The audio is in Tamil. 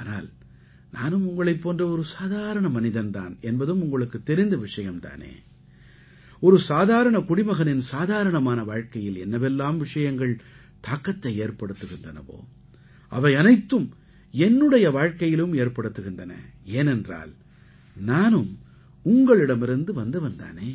ஆனால் நானும் உங்களைப் போன்ற ஒரு சாதாரண மனிதன் தான் என்பதும் உங்களுக்குத் தெரிந்த விஷயம் தானே ஒரு சாதாரண குடிமகனின் சாதாரணமான வாழ்க்கையில் என்னவெல்லாம் விஷயங்கள் தாக்கத்தை ஏறப்டுத்துகின்றனவோ அவை அனைத்தும் என்னுடைய வாழ்க்கையிலும் ஏற்படுத்துகின்றன ஏனென்றால் நானும் உங்களிடமிருந்து வந்தவன் தானே